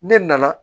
Ne nana